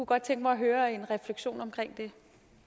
godt tænke mig at høre en refleksion omkring det